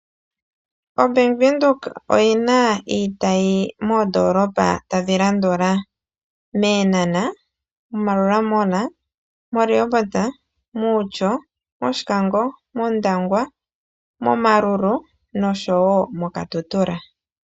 OBank Windhoek oyina iitayi moondolopa tadhi landula mEenhana mo Maruela mall mo Rehoboth mOutjo mOndangwa noshowo moKatutura.